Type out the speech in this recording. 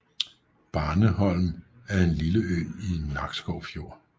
Barneholm er en lille ø i Nakskov Fjord